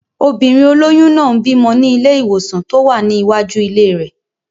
Obìnrin olóyún náà ń bímọ ní ilé-ìwòsàn tó wà ní iwájú ilé rẹ̀